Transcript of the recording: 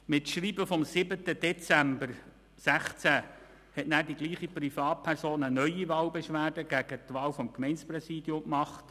Mit Schreiben vom 07.12.2016 reichte dieselbe Privatperson eine neue Wahlbeschwerde gegen die Wahl des Gemeindepräsidiums ein.